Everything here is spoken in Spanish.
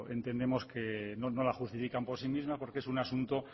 entendemos que no la justifican por sí misma porque es un asunto